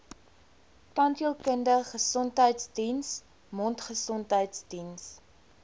tandheelkundige gesondheidsdiens mondgesondheidsdiens